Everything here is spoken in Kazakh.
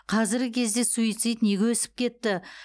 қазіргі кезде суицид неге өсіп кетті